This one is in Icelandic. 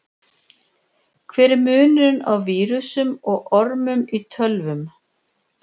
Hver er munurinn á vírusum og ormum í tölvum?